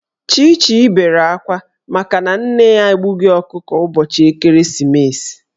Chichi bere akwa makana nne ya egbughi ọkụkọ ụbọchị ekeresimeesi.